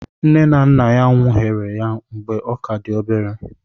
Nne na nna nwụnaghere ya mgbe ọ ka dị obere.